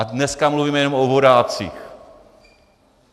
A dneska mluvíme jenom o vodácích.